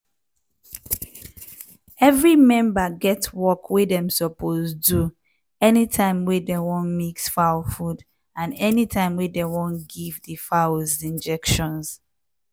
every member get work wey dem suppose do anytime wey dey wan mix fowls food and anytime wey dem wan give di fowls injections.